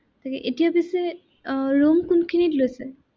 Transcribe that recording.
হেৰি এতিয়া পিছে আহ room কোনখিনিত লৈছে?